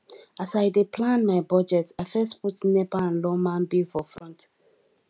as i dey plan my budget i first put nepa and lawma bill for front